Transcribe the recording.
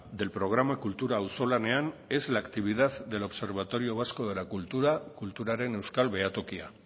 del programa kultura auzolanean es la actividad del observatorio vasco de la cultura kulturaren euskal behatokia